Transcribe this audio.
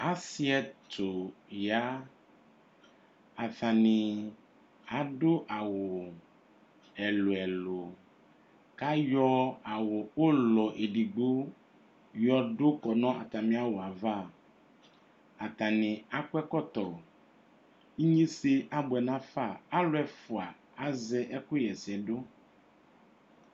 Asi ɛtʋ ya atani adʋ awʋ ɛlʋ ɛlʋ kʋ ayɔ awʋ ɔlʋ edigbo yɔdʋ ʋkʋ nʋ atami awʋ yɛ ava atani akʋ ɛkɔtɔ enyesɛ abʋɛ nafa alʋ ɛfʋa azɛ ɛkʋxa ɛsɛdʋ